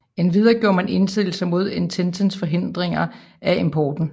Endvidere gjorde man indsigelse mod Ententens forhindringer af importen